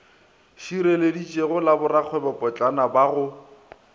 šireletšegilego la borakgwebopotlana ba go